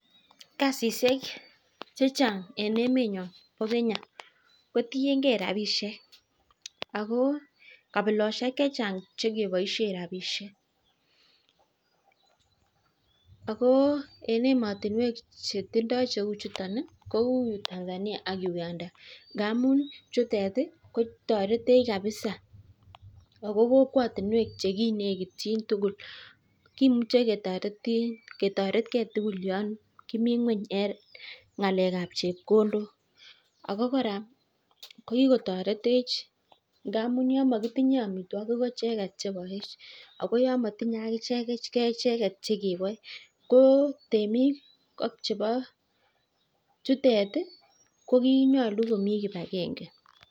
Kasishek kotiyengee arishek taretej kabisaa kimuchi ketaretke ak kokwet Tanzania ak uganda koraa kikotaretej yamakitinyee amitwakik